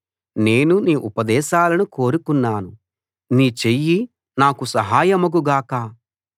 నేను నీ ఉపదేశాలను కోరుకున్నాను నీ చెయ్యి నాకు సహాయమగు గాక